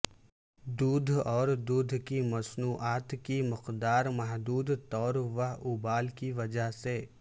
دودھ اور دودھ کی مصنوعات کی مقدار محدود طور وہ ابال کی وجہ سے